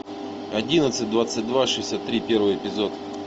одиннадцать двадцать два шестьдесят три первый эпизод